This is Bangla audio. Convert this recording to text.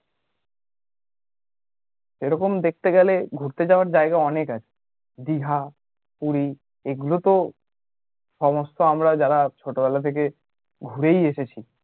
এরকম দেখেতে গেলে ঘুরতে যাওয়ার জায়গা অনেক আছে দীঘা, পুরী এগুলোতো সমস্ত আমরা যারা ছোটবেলা থেকে ঘুরেই এসেছি